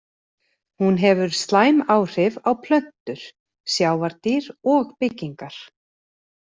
Hún hefur slæm áhrif á plöntur, sjávardýr og byggingar.